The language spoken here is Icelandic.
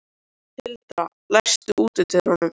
Tildra, læstu útidyrunum.